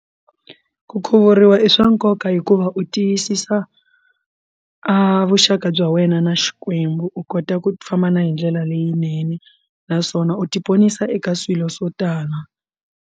Ku khuvuriwa i swa nkoka hikuva u tiyisisa vuxaka bya wena na xikwembu u kota ku famba na hindlela leyinene naswona u ti ponisa eka swilo swo tala.